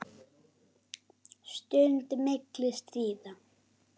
Stund milli stríða.